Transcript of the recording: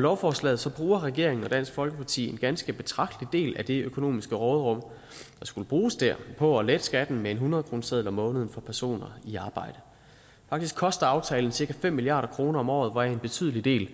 lovforslaget bruger regeringen og dansk folkeparti en ganske betragtelig del af det økonomiske råderum der skulle bruges der på at lette skatten med en hundredkroneseddel om måneden for personer i arbejde faktisk koster aftalen cirka fem milliard kroner om året hvoraf en betydelig del